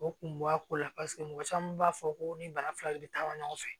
O kun b'a ko la paseke mɔgɔ caman b'a fɔ ko ni bana fila de bɛ taa ɲɔgɔn fɛ